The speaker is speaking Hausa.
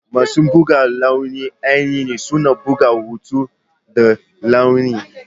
Masu buga launi ainihi suna buga hotuna da launi.